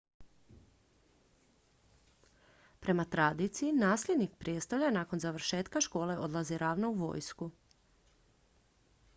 prema tradiciji nasljednik prijestolja nakon završetka škole odlazi ravno u vojsku